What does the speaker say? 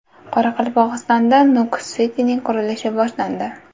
Qoraqalpog‘istonda Nukus City’ning qurilishi boshlandi.